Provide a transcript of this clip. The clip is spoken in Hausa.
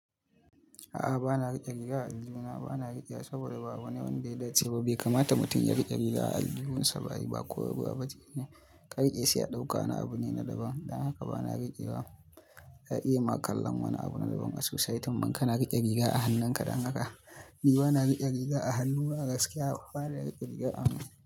A'a bana rike riga a aljihu na. Bana rikewa saboda ba wani abunda ya dace ba. Bai kamata mutum ya rike riga a aljihunsa ba yi ba koyarwa ba bace ne. Inkariƙe sai ya ɗauka, wani abu ne na daban. Dan haka bana rike ba. Za a iya ma kallan wani abu na daban a sosai, tambam kana rike riga a hannunka dan haka. Ni bana rike riga a hannu na gaskiya. Bana rike riga a hannu.